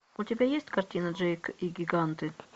у тебя есть картина джейк и гиганты